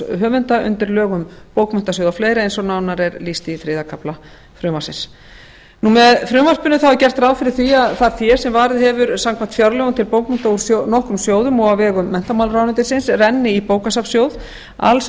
um bókmenntasjóð og fleira eins og nánar er lýst í þriðja kafla frumvarpsins með frumvarpinu er gert ráð fyrir því að það fé sem varið hefur verið samkvæmt fjárlögum til bókmennta úr nokkrum sjóðum og á vegum menntamálaráðuneytisins renni í bókasafnssjóð alls